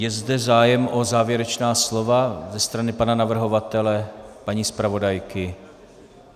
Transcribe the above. Je zde zájem o závěrečná slova ze strany pana navrhovatele, paní zpravodajky?